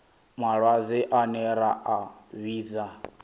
malwadze ane ra a vhidza